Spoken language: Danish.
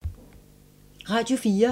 Radio 4